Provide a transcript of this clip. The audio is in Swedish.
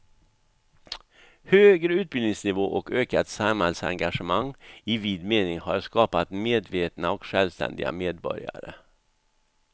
Högre utbildningsnivå och ökat samhällsengagemang i vid mening har skapat medvetna och självständiga medborgare.